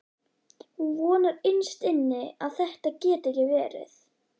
Hún vonar innst inni að þetta geti ekki verið.